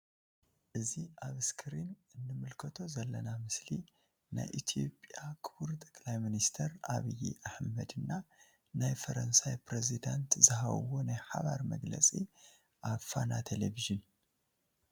እዚ ኣብ እስክሪን እንምልከቶ ዘለና ምስሊ ናይ ኢትዮፕያ ክቡር ጠቅላይ ሚንስተር ዐቢይ ኣሕመድ እና ናይ ፈረንሳይ ፕሪዝደንት ዝሃብዎ ናይ ሓባር መግለጺ ኣብ ፋና ቴሊቭዥን።